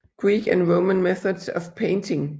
Greek and Roman Methods of Painting